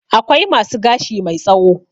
Akwai masu gashi mai tsawo.